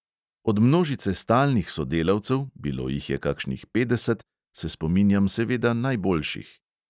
Od množice stalnih sodelavcev, bilo jih je kakšnih petdeset, se spominjam seveda najboljših.